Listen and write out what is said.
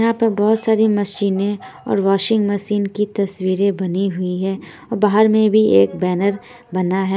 यहाँ पर बहुत सारी मशीनें और वाशिंग मशीन की तस्वीरें बनी हुई है और बाहर में भी एक बैनर बना है।